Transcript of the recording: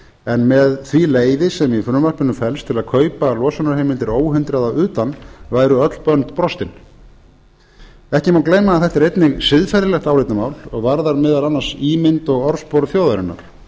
en með leyfi því sem í frumvarpinu felst til að kaupa losunarheimildir óhindrað að utan væru öll bönd brostin ekki má gleyma að þetta er einnig siðferðilegt álitamál og varðar meðal annars ímynd og orðspor þjóðarinnar